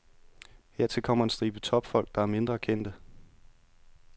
Hertil kommer en stribe topfolk, der er mindre kendte.